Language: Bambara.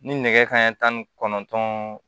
Ni nɛgɛ kanɲɛ tan ni kɔnɔntɔn